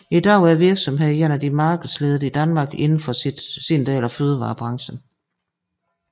I dag er virksomheden en af de markedsledende i Danmark indenfor sin del af fødevarebranchen